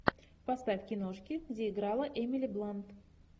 поставь киношки где играла эмили блант